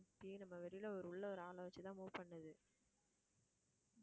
நம்ம வெளியில உள்ள ஒரு ஆளை வச்சுதான் move பண்ணுது